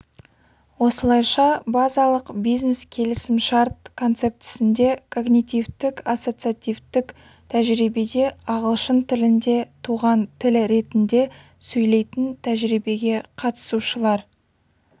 осылайша базалық бизнес-келісімшарт концептісінде когнитивтік-ассоциативтік тәжірибеде ағылшын тілінде туған тіл ретінде сөйлейтін тәжірибеге қатысушылар